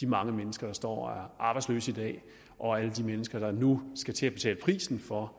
de mange mennesker der står og er arbejdsløse i dag og alle de mennesker der nu skal til at betale prisen for